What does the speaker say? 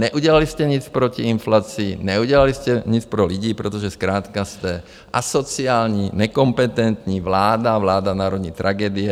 Neudělali jste nic proti inflaci, neudělali jste nic pro lidi, protože zkrátka jste asociální, nekompetentní vláda, vláda národní tragédie.